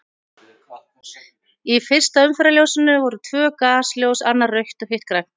Í fyrsta umferðarljósinu voru tvö gasljós, annað rautt og hitt grænt.